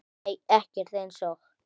Nei ekkert eins og